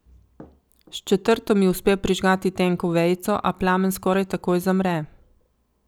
S četrto mi uspe prižgati tenko vejico, a plamen skoraj takoj zamre.